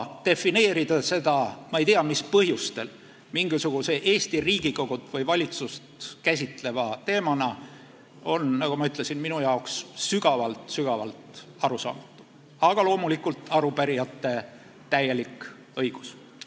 Defineerida seda ma ei tea mis põhjustel mingisuguse Eesti Riigikogu või valitsust käsitleva teemana on, nagu ma ütlesin, minu jaoks sügavalt-sügavalt arusaamatu, aga loomulikult on arupärijatel selleks täielik õigus.